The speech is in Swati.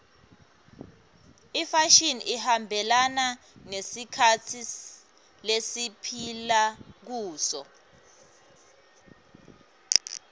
imfashini ihambelana nesikhatsi lesiphila kuso